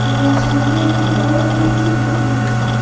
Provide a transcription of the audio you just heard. এবং সামনে একটি বড় পি_এইচ_ই দেখতে পাচ্ছি।